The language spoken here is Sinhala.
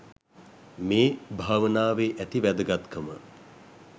මේ භාවනාවේ ඇති වැදගත්කම